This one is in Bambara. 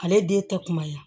Ale den tɛ kunbaya